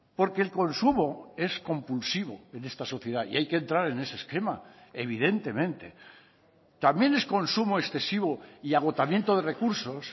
porque el consumo es compulsivo en esta sociedad y hay que entrar en ese esquema evidentemente también es consumo excesivo y agotamiento de recursos